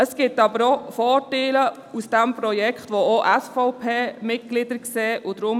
Dieses Projekt hat auch Vorteile, die auch von SVP-Mitgliedern gesehen werden.